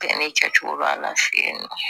Bɛɛ ni cɛ cogo b'a la fɛ yen nɔ